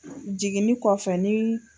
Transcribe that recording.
Jigini kɔfɛ ni